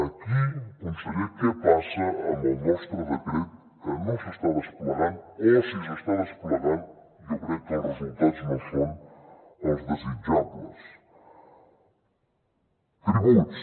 aquí conseller què passa amb el nostre decret que no s’està desplegant o si s’està desplegant jo crec que els resultats no són els desitjables tributs